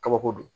Kabako don